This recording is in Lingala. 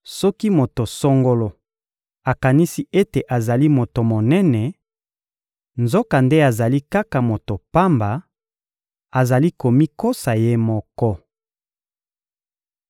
Soki moto songolo akanisi ete azali moto monene, nzokande azali kaka moto pamba, azali komikosa ye moko.